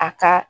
A ka